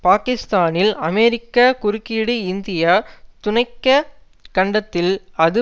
பாக்கிஸ்தானில் அமெரிக்க குறுக்கீடுஇந்திய துணைக்க கண்டத்தில் அது